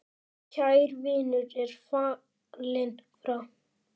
Kær vinur er fallinn frá.